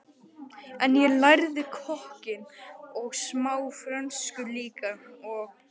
En ég lærði kokkinn og smá frönsku líka og